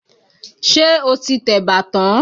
Ṣé o ti tẹ̀bà tán?